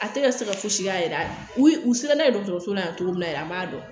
A tɛ ka se ka fosi k'a yɛrɛ ye u se n'a ye dɔgɔtɔrɔso la yan cogo min na yɛrɛ an b'a dɔn